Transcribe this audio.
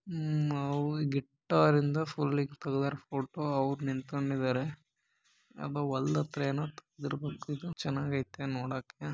ಇಲ್ಲಿ ಒಂದು ಗಿಟಾರ್ ಐತೆ ಅಣ್ಣ ಒಂದು ಕ್ಯಾಮೆರಾ ಹಿಡ್ಕೊಂಡು ಫೋಟೋ ತೆಗಿತಿದ್ದಾನೆ ಮುಂದೆ ಒಬ್ಬನು ನಿಂತ್ಕೊಂಡಿದ್ದಾನೆ ಅವನು ಗಿಟಾರ್ ಇಂದ ಫುಲ್ ಕಲರ್ ಫೋಟೋ ಅವರು ನಿತ್ಕೊಂಡಿದ್ದಾರೆ ಯಾವುದೋ ಹೊಲದ ಹತ್ರ ಏನೋ ತೆಗೆದಿರ ಬೇಕು ಇರಬೇಕು ನೋಡಕ್ಕೆ ತುಂಬಾ ಚೆನ್ನಾಗಿದೆ